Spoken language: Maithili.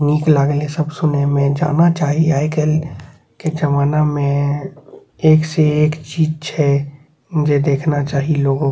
निक लागले सब सुनेमे जाना चाही आय काएल के जमाना में एक से एक चीज छै जे देखना चाही लोगो --